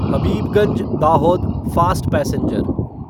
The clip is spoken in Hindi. Habibganj Dahod fast passenger